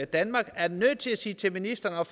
danmark er nødt til sige til ministeren